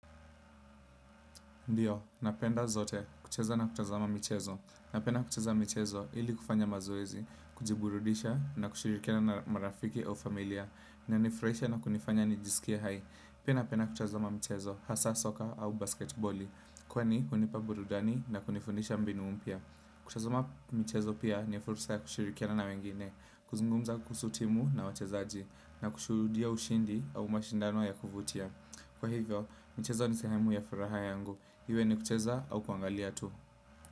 Ndiyo, napenda zote kucheza na kutazama michezo. Napenda kucheza michezo ili kufanya mazoezi, kujiburudisha na kushirikiana na marafiki au familia, inanifurahisha na kunifanya nijisikie hai. Pia napenda kutazama mchezo, hasaa soka au basketiboli, kwani hunipa burudani na kunifundisha mbinu mpya. Kutazama mchezo pia ni fursa ya kushirikiana na wengine, kuzungumza kuhusu timu na wachezaji, na kushuhudia ushindi au mashindano ya kuvutia. Kwa hivyo, mcheza ni sehemu ya furaha yangu iwe ni kucheza au kuangalia tu.